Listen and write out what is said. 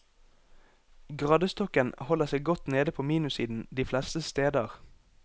Gradestokken holder seg godt nede på minussiden de fleste steder.